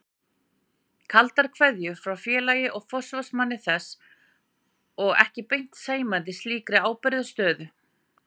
Kaldar kveðjur frá félagi og forsvarsmanni þess og ekki beint sæmandi slíkri ábyrgðarstöðu.